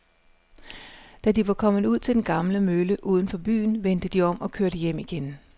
Da de var kommet ud til den gamle mølle uden for byen, vendte de om og kørte hjem igen.